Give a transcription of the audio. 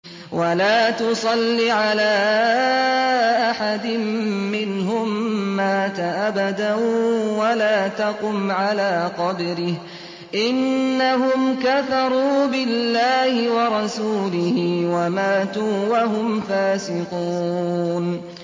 وَلَا تُصَلِّ عَلَىٰ أَحَدٍ مِّنْهُم مَّاتَ أَبَدًا وَلَا تَقُمْ عَلَىٰ قَبْرِهِ ۖ إِنَّهُمْ كَفَرُوا بِاللَّهِ وَرَسُولِهِ وَمَاتُوا وَهُمْ فَاسِقُونَ